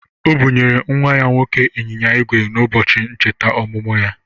O bụnyere nnwa ya nwoke anyịnya ígwè n'ụbọchị ncheta ọmụmụ ya.